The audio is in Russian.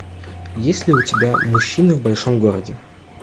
есть ли у тебя мужчины в большом городе